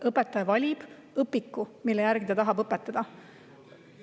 Õpetaja valib õpiku, mille järgi ta tahab õpetada.